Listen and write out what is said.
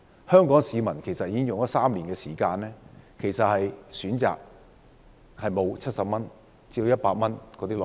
香港市民其實已經有3年不能選擇70元至100元的內地活雞。